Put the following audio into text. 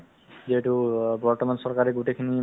ব্যৱস্থাতো বহুত ধুনীয়া হৈ আছে